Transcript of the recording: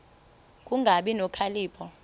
ku kungabi nokhalipho